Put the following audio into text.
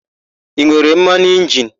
I nwere mmanụ injini?